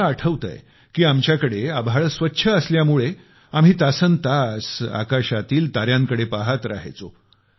मला आठवतंय की आमच्याकडे आभाळ स्वच्छ असल्यामुळे आम्ही तासन् तास आकाशातील ताऱ्यांकडे पहात रहायचो